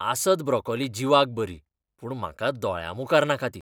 आसत ब्रोकोली जिवाक बरी, पूण म्हाका दोळ्यामुखार नाका ती.